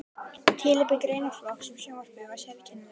Tilefni greinaflokksins um sjónvarpið var sérkennilegt.